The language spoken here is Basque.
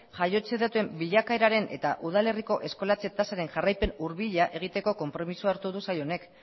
jaiotzen datuen bilakaeraren eta udal herriko eskolatze tasaren jarraipen hurbila egiteko konpromisoa hartu du sail honek